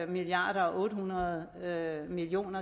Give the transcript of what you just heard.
milliard og otte hundrede million